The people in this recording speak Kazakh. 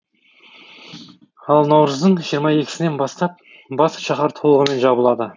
ал наурыздың жиырма екісінен бастап бас шаһар толығымен жабылады